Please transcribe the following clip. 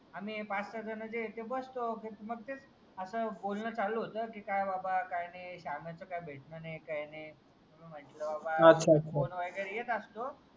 आणि आम्ही पाच सहा जाणं तिथे बसतो आणि मग बोलणं चालू होतं की काय बाबा काही नाही शाम्याचं काय भेटणं काही नाही मग म्हटलं बाबा इकडे येत असतो.